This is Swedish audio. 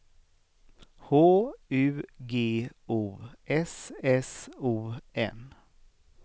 H U G O S S O N